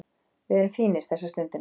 Við erum fínir þessa stundina